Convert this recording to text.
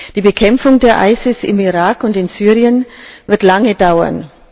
Die Bekämpfung des IS im Irak und in Syrien wird lange dauern.